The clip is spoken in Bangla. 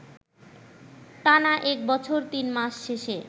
টানা এক বছর তিন মাস শেষে